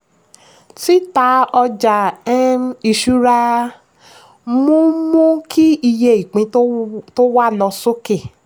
tita ọjà um ìṣúra mú mú kí iye ìpín tó wà lọ sókè.